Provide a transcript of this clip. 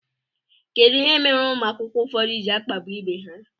Kedụ ihe mere ụmụ akwụkwọ ụfọdụ ji akpagbu ibe ha?